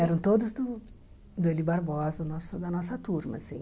Eram todos do do Eli Barbosa, nosso da nossa turma, assim.